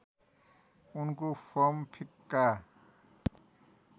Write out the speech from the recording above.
उनको फर्म फिक्का